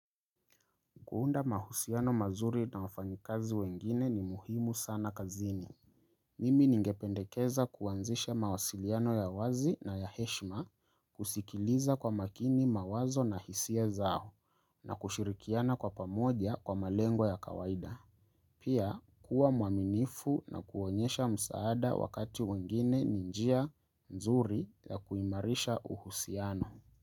Kuunda mahusiano mazuri na wafanyikazi wengine ni muhimu sana kazini. Mimi ningependekeza kuanzisha mawasiliano ya wazi na ya heshima, kusikiliza kwa makini mawazo na hisia zao, na kushirikiana kwa pamoja kwa malengo ya kawaida. Pia kuwa mwaminifu na kuonyesha msaada wakati wengine ni njia nzuri ya kuimarisha uhusiano.